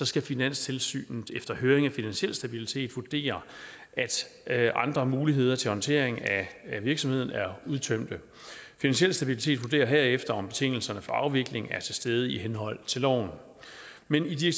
skal finanstilsynet efter høring af finansiel stabilitet as vurdere at andre muligheder til håndteringen af virksomheden er udtømte finansiel stabilitet as vurderer herefter om betingelserne for afvikling er til stede i henhold til loven men i